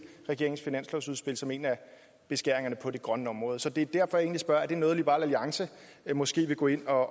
regeringens finanslovsudspil som en af beskæringerne på det grønne område så det er egentlig derfor jeg spørger er det noget som liberal alliance måske vil gå ind og